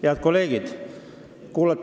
Head kolleegid!